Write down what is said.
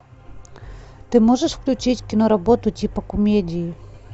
ты можешь включить киноработу типа комедии